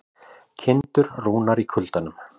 Kindur rúnar í kuldanum